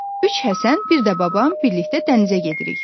Üç Həsən, bir də babam birlikdə dənizə gedirik.